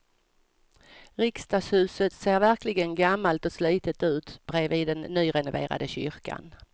Riksdagshuset ser verkligen gammalt och slitet ut bredvid den nyrenoverade kyrkan.